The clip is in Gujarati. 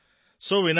સો વિનાયક